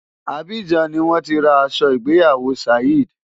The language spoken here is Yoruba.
Abidjan ni wọ́n ti ra aṣọ ìgbéyàwó Saheed.